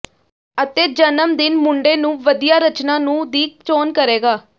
ਅਤੇ ਜਨਮ ਦਿਨ ਮੁੰਡੇ ਨੂੰ ਵਧੀਆ ਰਚਨਾ ਨੂੰ ਦੀ ਚੋਣ ਕਰੇਗਾ